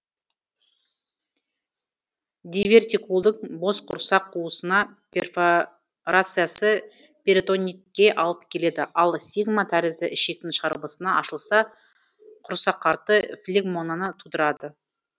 дивертикулдың бос құрсақ қуысына перфорациясы перитонитке алып келеді ал сигма тәрізді ішектің шарбысына ашылса құрсақарты флегмонаны тудырады